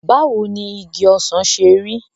Báwo ni igi ọsàn ṣe rí?